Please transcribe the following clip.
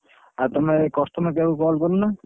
ଆଉ ତମେ customer care କୁ call କରୁନା।